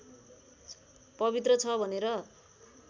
पवित्र छ भनेर